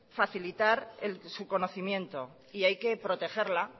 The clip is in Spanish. facilitar su conocimiento y hay que protegerla